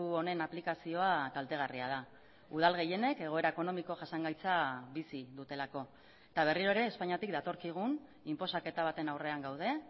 honen aplikazioa kaltegarria da udal gehienek egoera ekonomiko jasangaitza bizi dutelako eta berriro ere espainiatik datorkigun inposaketa baten aurrean gaude